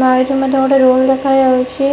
ଏଠି ମଧ୍ୟ ଗୋଟେ ରୁମ୍ ଦେଖାଯାଉଛି।